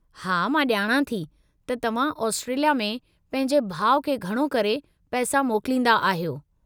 हा, मां ॼाणां थी त तव्हां ऑस्ट्रेलिया में पंहिंजे भाउ खे घणो करे पैसा मोकलींदा आहियो।